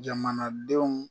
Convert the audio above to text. Jamanadenw